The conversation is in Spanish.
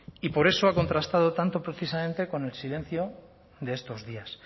y por eso ha contrastado tanto precisamente con el silencio de estos días